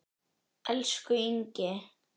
Elsku Ingi.